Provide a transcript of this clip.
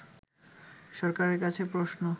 সরকারের কাছে প্রশ্ন